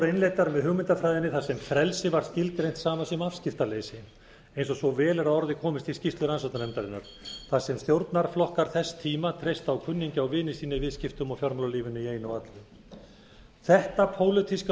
innleiddar með hugmyndafræðinni þar sem frelsi var skilgreint sama sem afskiptaleysi eins og svo vel er að orði komist í skýrslu rannsóknarnefndarinnar þar sem stjórnarflokkar þess tíma treystu á kunningja og vini sína í fjármálalífinu í einu og öllu þetta pólitíska